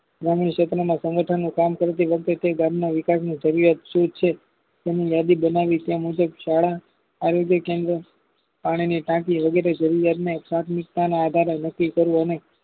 આગામી સેત્રમાં સંગઠનું કામ કરતી ગામના વિકાશની જરૂરિયાત શું છે તેની યાદી બનાવી તેમુજબ શાળાઆરોજય કેન્દ્ર પાણીની ટાંકી વગેરે જરૂરિયાતને પ્રાથમિકતાના આધારે નક્કી કરવું અને